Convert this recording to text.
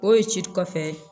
O ye ci kɔfɛ